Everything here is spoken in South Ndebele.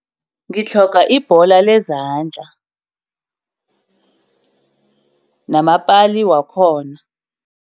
Ngitlhoga ibhola lezandla namapali wakhona.